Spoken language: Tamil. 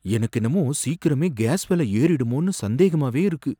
எனக்கென்னவோ சீக்கிரமே கேஸ் விலை ஏறிடுமோனு சந்தேகமாவே இருக்கு.